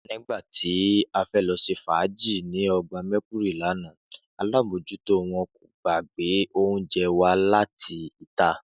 Nígbà ta fẹ́ lọ ṣe fàájì ní ọgbà Mercury lánàá, alábòójútó wọn kò gbà ka gbé oúnjẹ wá láti ìta